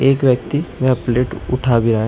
एक व्यक्ती यहां प्लेट उठा भी रहा है।